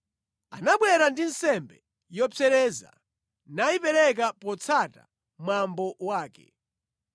Anabwera ndi nsembe yopsereza, nayipereka potsata mwambo wake.